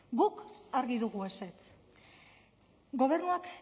guk argi dugu ezetz gobernuak